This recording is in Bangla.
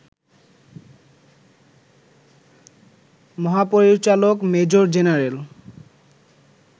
মহাপরিচালক মেজর জেনারেল